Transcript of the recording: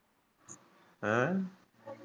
ਹਾਂ।